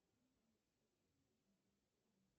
по объему то есть длина